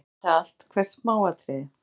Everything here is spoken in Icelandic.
Hún vildi vita allt, hvert smáatriði.